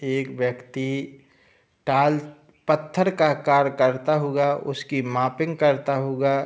एक व्‍यक्ति टाल पत्‍थर का कार्य करता हुआ उसकी मापिग करता हुआ --